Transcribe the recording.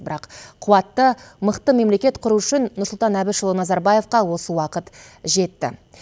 бірақ қуатты мықты мемлекет құру үшін нұрсұлтан әбішұлы назарбаевқа осы уақыт жетті